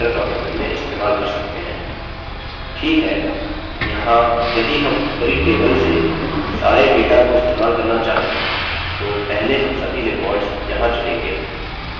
ठीक है यहाँ यदि हम ऊपरी table से सारे data को इस्तेमाल करना चाहें तो पहले हम सभी records यहाँ चुनेंगे